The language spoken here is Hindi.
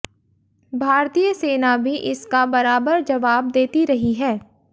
भारतीय सेना भी इसका बराबर जवाब देती रही है